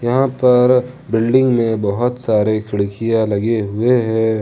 यहां पर बिल्डिंग में बहुत सारे खिड़कियां लगे हुए है।